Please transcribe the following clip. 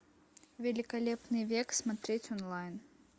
великолепный век смотреть онлайн